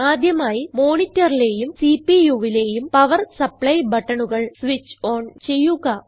ആദ്യമായി monitorലേയും CPUവിലേയും പവർ സപ്ലൈ ബട്ടണുകൾ സ്വിച്ച് ഓൺ ചെയ്യുക